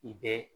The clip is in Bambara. I bɛ